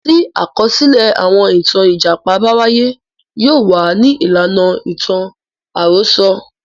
Tí àkọsílẹ̀ àwọn ìtàn Ìjàpá bá wáyé. Yóò wà ní ìlànà ìtàn àròsọ.